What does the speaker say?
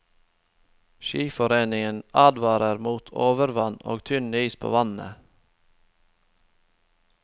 Skiforeningen advarer mot overvann og tynn is på vannene.